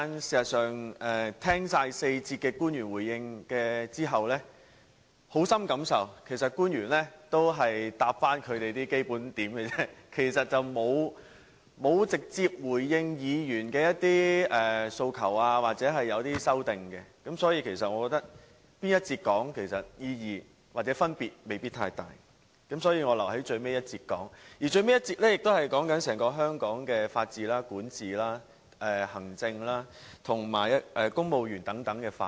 事實上，聽畢官員對4節發言的回應後，我深刻感受到官員只提供基本答覆而已，並沒有直接回應議員的訴求或修正案。所以，我覺得在哪節發言，未必有太大意義或分別，故此我留待最後一節才發言，而最後一節辯論是有關整個香港的法治、管治、行政及公務員等範圍。